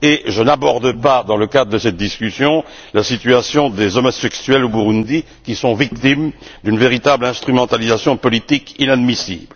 Je n'aborde pas dans le cadre de cette discussion la situation des homosexuels au Burundi qui sont victimes d'une véritable instrumentalisation politique inadmissible.